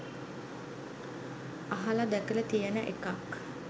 අහල දැකල තියෙන එකක්.